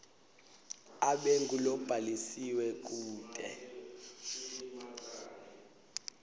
abe ngulobhalisiwe kute